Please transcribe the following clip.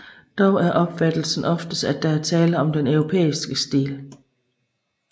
Dog er opfattelsen oftest at der er tale om den europæiske stil